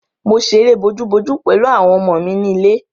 Mo ṣe eré bojú-bojú pẹ̀lú àwọn ọmọ mi ni ilé.